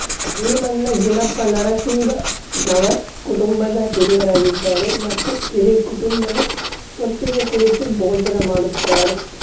ಭೀಮಣ್ಣ ಜಿನಪ ನರಸಿಂಗನವರ್ ಕುಟುಂಬದ ಹಿರಿಯರಾಗಿದ್ದಾರೆ ಮತ್ತು ಇಡೀ ಕುಟುಂಬವೇ ಒಟ್ಟಿಗೆ ಕುಳಿತು ಭೋಜನ ಮಾಡುತ್ತಾರೆ